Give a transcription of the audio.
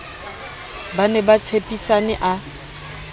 ba ne ba tshepisane a